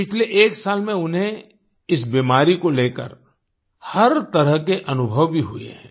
पिछले एक साल में उन्हें इस बीमारी को लेकर हर तरह के अनुभव भी हुए हैं